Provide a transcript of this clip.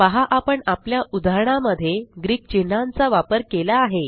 पहा आपण आपल्या उदाहरणा मध्ये ग्रीक चिन्हांचा वापर केला आहे